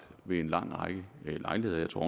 ved en lang række lejligheder jeg tror